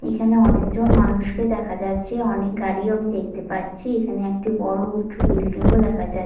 এখানে অনেকজন মানুষকে দেখা যাচ্ছে। অনেক গাড়িও আমি দেখতে পাচ্ছি। এখানে একটি বড় উচু বিল্ডিং ও দেখা যাচ্ --